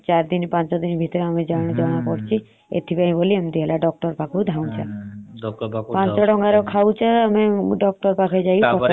ପାଞ୍ଚଟଙ୍କା ର ଖାଉଛେ ଡାକ୍ତର ପାଖରେ ପଚାଷେ ଗଣୁଚ୍ଛେ।